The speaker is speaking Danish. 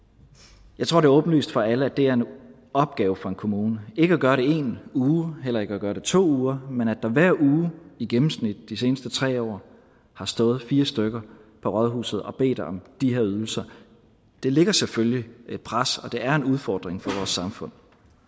jeg tror det er åbenlyst for alle at det er en opgave for en kommune ikke at gøre det i en uge heller ikke at gøre det i to uger men at der hver uge i gennemsnit de seneste tre år har stået fire stykker på rådhuset og bedt om de her ydelser det lægger selvfølgelig et pres og det er en udfordring for vores samfund